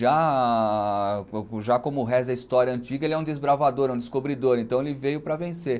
Já já como reza a história antiga, ele é um desbravador, um descobridor, então ele veio para vencer.